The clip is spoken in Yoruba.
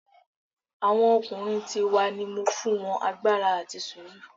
Awọn ọkunrin ti wa ni mo fun won agbara ati suru